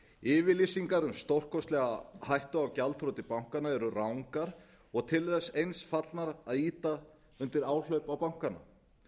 yfirlýsingar um stórkostlega hættu á gjaldþroti bankana eru rangar og til þess eins fallnar að ýta undir áhlaup á bankana